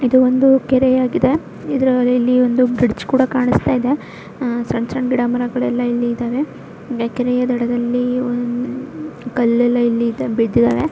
ಇದು ಒಂದು ಕೆರೆಯಾಗಿದೆ ಇದರ ಒಂದು ಬ್ರಿಡ್ಜ್ ಕೂಡ ಕಾಣಿಸ್ತಾ ಇದೆ ಆಹ್ಹ್ ಸಣ್ಣ ಸಣ್ಣ ಗಿಡ ಮರಗಳೆಲ್ಲಾ ಇಲ್ಲಿ ಇದಾವೆ ಕೆರೆಯ ದಡದಲ್ಲಿ ಒನ್ ಕಲ್ಲೆಲ್ಲ ಇಲ್ಲಿ ಇದ್ ಬಿದ್ದಿದಾವೆ.